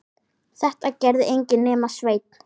Þetta gerði enginn nema Sveinn.